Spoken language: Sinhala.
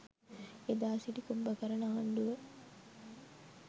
එදා සිටි කුම්භකරන ආණ්ඩුව